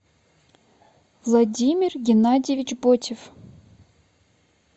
владимир геннадьевич ботев